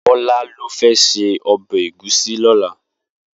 Bola ló fè sé òbè égúsì lòlá